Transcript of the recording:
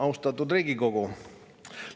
Austatud Riigikogu!